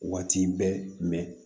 Waati bɛɛ